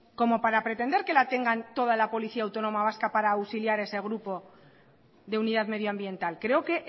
como para pretender que la tengan toda la policía autónoma vasca para auxiliar a ese grupo de unidad medioambiental creo que